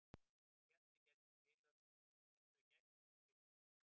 Ég hélt að við gætum ekki spilað svona illa.